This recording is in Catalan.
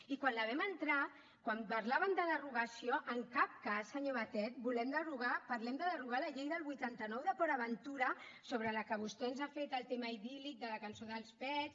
i quan la vam entrar quan parlàvem de derogació en cap cas senyor batet volem derogar parlem de derogar la llei del vuitanta nou de port aventura sobre la qual vostè ens ha fet el tema idíl·lic de la cançó d’els pets